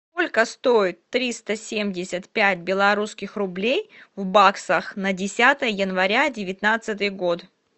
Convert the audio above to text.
сколько стоит триста семьдесят пять белорусских рублей в баксах на десятое января девятнадцатый год